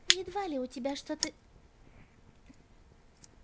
едва ли у тебя что-то